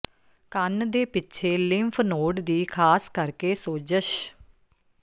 ਕੰਨ ਦੇ ਪਿੱਛੇ ਲਿੰਫ ਨੋਡ ਦੀ ਖ਼ਾਸ ਕਰਕੇ ਸੋਜਸ਼